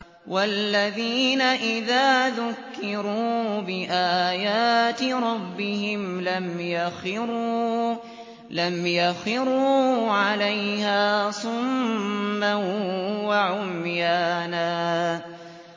وَالَّذِينَ إِذَا ذُكِّرُوا بِآيَاتِ رَبِّهِمْ لَمْ يَخِرُّوا عَلَيْهَا صُمًّا وَعُمْيَانًا